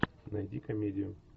найди комедию